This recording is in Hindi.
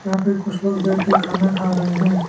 यहां पे कुछ लोग बैठ के खाना खा रहे हैं।